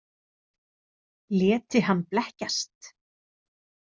Léti hann blekkjast?